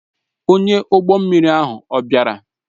Onye ụgbọ mmiri ahụ ọ̀ bịara?